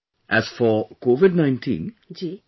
First of all, as for Covid19